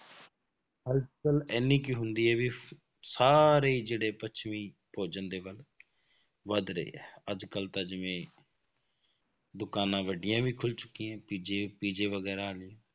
ਇੰਨੀ ਕੁ ਹੁੰਦੀ ਹੈ ਵੀ ਸਾਰੇ ਹੀ ਜਿਹੜੇ ਪੱਛਮੀ ਭੋਜਨ ਦੇ ਵੱਲ ਵੱਧ ਰਹੇ ਹੈ, ਅੱਜ ਕੱਲ੍ਹ ਤਾਂ ਜਿਵੇਂ ਦੁਕਾਨਾਂ ਵੱਡੀਆਂ ਵੀ ਖੁੱਲ ਚੁੱਕੀਆਂ, ਪੀਜ਼ੇ ਪੀਜ਼ੇ ਵਗ਼ੈਰਾ ਆ ਗਏ,